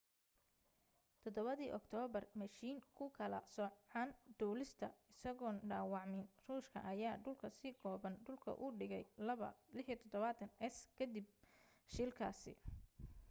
7 dii octoobar mashiin ku kala soocan duulista isagoon dhaawacmin ruushka ayaa dhulka si kooban dhulka u dhigay il-76s kadib shilkaasi